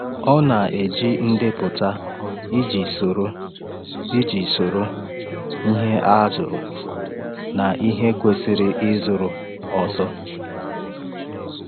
Ọ na-eji ndepụta iji soro iji soro ihe a zụrụ na ihe kwesịrị ịzụrụ ọzọ.